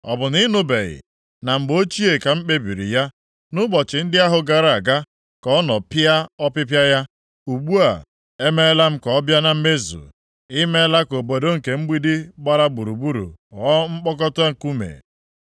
“Ọ bụ na ị nụbeghị? Na mgbe ochie ka m kpebiri ya. Nʼụbọchị ndị ahụ gara aga ka nọ pịa ọpịpịa ya, ugbu a, emeela m ka ọ bịa na mmezu, na ị meela ka obodo nke mgbidi gbara gburugburu, ghọọ mkpokọta nkume.